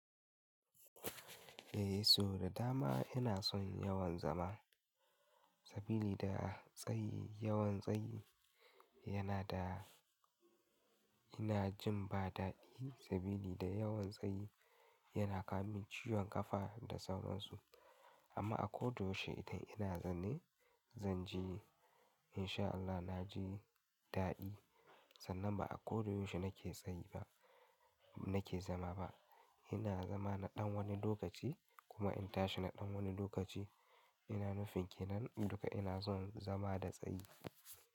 A so da dama ina son yawan zama saboda tsayi, yawan tsayi yana da-- ina jin ba daɗi saboda yawan tsayi yana kawo min ciwon ƙafa da sauransu. Amma a ko da yaushe idan ina zaune zan ji in sha Allah na ji daɗi. Sannan ba a kodayaushe nake tsayi ba, nake zama ba. Ina zama na ɗan wani lokaci kuma in tashi na ɗan wani lokaci. Ina nufin ke nan duka ina son zama da tsayi.